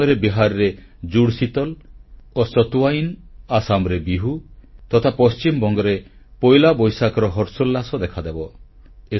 ସେହି ସମୟରେ ବିହାରରେ ଜୁଡ଼ଶୀତଲ ଓ ସତୁୱାଇନ ଅସାମରେ ବିହୂ ତଥା ପଶ୍ଚିମବଂଗରେ ପୋଇଲା ବୈଶାଖର ହର୍ଷୋଲ୍ଲାସ ଦେଖାଦେବ